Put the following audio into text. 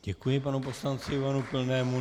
Děkuji panu poslanci Ivanu Pilnému.